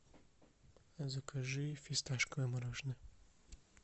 закажи фисташковое мороженое